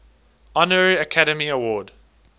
honorary academy award